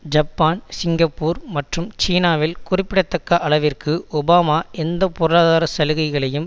Japan Singapore மற்றும் சீனாவில் குறிப்பிடத்தக்க அளவிற்கு ஒபாமா எந்த பொருளாதார சலுகைகளையும்